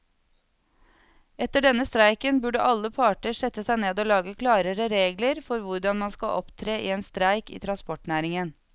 Etter denne streiken burde alle parter sette seg ned og lage klarere regler for hvordan man skal opptre i en streik i transportnæringen.